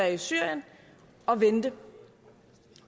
i syrien og vente